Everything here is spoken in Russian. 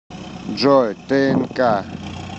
джой тээнка